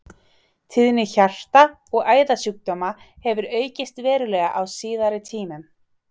Tíðni hjarta- og æðasjúkdóma hefur aukist verulega á síðari tímum.